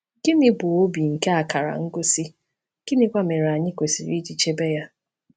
Gịnị bụ obi nke akara ngosi, gịnịkwa mere anyị kwesịrị iji chebe ya?